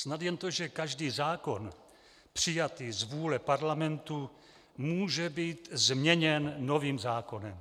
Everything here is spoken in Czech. Snad jen to, že každý zákon přijatý z vůle Parlamentu může být změněn novým zákonem.